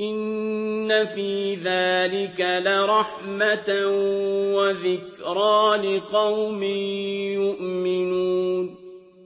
إِنَّ فِي ذَٰلِكَ لَرَحْمَةً وَذِكْرَىٰ لِقَوْمٍ يُؤْمِنُونَ